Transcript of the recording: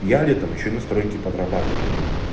я летом ещё на стройке подрабатываю